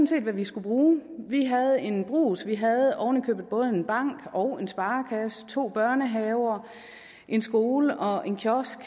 set hvad vi skulle bruge vi havde en brugs vi havde ovenikøbet både en bank og en sparekasse to børnehaver en skole og en kiosk